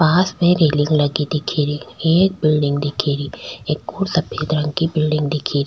पास में रेलिंग लगी दिख री एक बिलडिंग दिख री एक को सफ़ेद रंग की बिलडिंग दिख री।